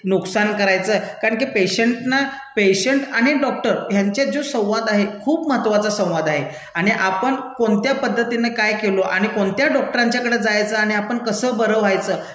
नुकसान करायचं, कारण की पेशंट्ना, पेशंट आणि डॉक्टर ह्यांच्यात जो संवाद आहे खूप महत्वाचा संवाद आहे, आणि आपण कोणत्या पद्धतीने काय केलो आणि कोणत्या डॉक्टरांच्याकडे जायचं आणि आपण कसं बरं व्हायचं